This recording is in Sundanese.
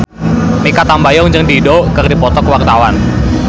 Mikha Tambayong jeung Dido keur dipoto ku wartawan